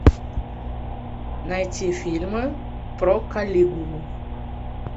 найти фильмы про калигулу